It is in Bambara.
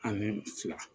Ani fila